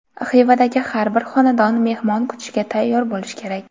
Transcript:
Xivadagi har bir xonadon mehmon kutishga tayyor bo‘lish kerak.